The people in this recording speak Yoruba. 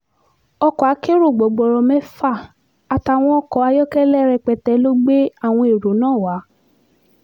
ọkọ̀ akẹ́rọ gbọgboro mẹ́fà àtàwọn ọkọ̀ ayọ́kẹ́lẹ́ rẹpẹtẹ ló gbé àwọn ẹ̀rọ náà wá